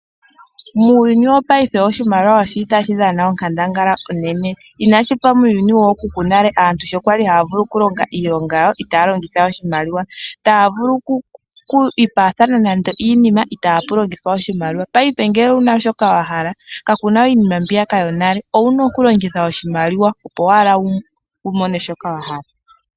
Muuyuni poyaife oshimaliwa oshili tashi dhana onkandangala onene, inashi fa muuyuni wookuku yonale, sho aantu kwali haya vulu oku longo iilonga yawo itaaya longitha oshimaliwa, taya vulu okwiipaathana nande oshiima kaapuna oshimaliwa. Paife ngele owuna shoka wa hala kakuna we iinima mbiya ka yonale, owuna oku longitha oshimaliwa opo wu mone shoka wahala.